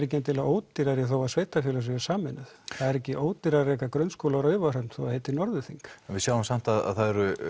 ekki endilega ódýrari þó að sveitarfélög séu sameinuð það er ekki ódýrara að reka grunnskóla á Raufarhöfn þó það heiti Norðurþing við sjáum samt að það eru